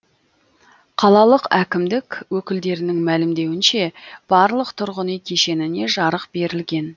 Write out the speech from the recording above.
қалалық әкімдік өкілдерінің мәлімдеуінше барлық тұрғын үй кешеніне жарық берілген